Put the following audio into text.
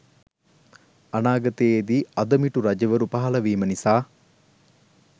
අනාගතයේදී අදමිටු රජවරු පහළවීම නිසා